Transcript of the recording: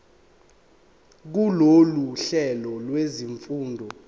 kulolu hlelo lwezifundo